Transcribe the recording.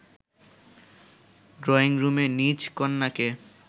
ড্রইংরুমে নিজ কন্যাকে